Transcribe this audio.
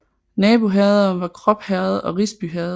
Naboherreder var Krop Herred og Risby Herred